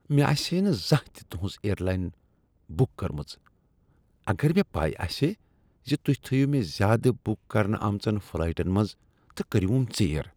مےٚ آسہا نہٕ زانٛہہ تہ تہنٛز اییر لاین بک کرمژ اگر مےٚ پے آسہا ز تہۍ تھٲوو مےٚ زیٛادٕ بک کرنہٕ آمژن فلایٹن منٛز تہٕ کٔریوم ژیر۔